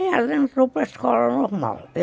E ela entrou para a escola normal.